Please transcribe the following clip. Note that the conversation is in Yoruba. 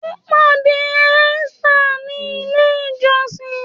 Ó pàdé Esther ní ilè ìjósìn.